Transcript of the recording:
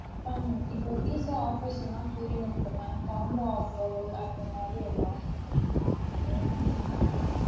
Ma'am இப்போ pizza offers எல்லாம் போயின்னு இருக்கு ma'am combo offer அந்த மாறியெல்லா.